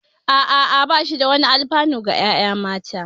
Ah ah, ba shi da wani alfanu ga ƴaƴa mata